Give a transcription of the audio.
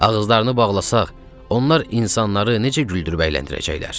Ağızlarını bağlasaq, onlar insanları necə güldürüb əyləndirəcəklər?